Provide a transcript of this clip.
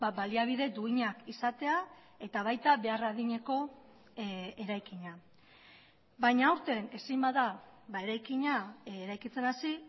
baliabide duinak izatea eta baita behar adineko eraikina baina aurten ezin bada eraikina eraikitzen hasi